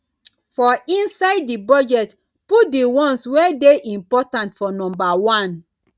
for inside di budget put di ones wey dey important for number one